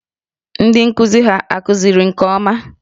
Ndị nkụzi hà kụziri nke ọma?